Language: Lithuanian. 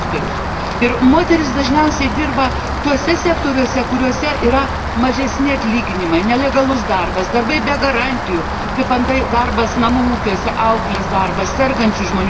Ir moterys dažniausiai dirba tuose sektoriuose, kuriuose yra mažesni atlyginimai, nelegalūs darbai, darbai be garantijų, kaip antai darbas namų ūkiuose, auklės, sergančių žmonių priežiūra.